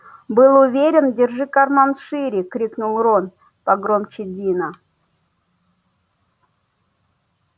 был уверен держи карман шире крикнул рон погромче дина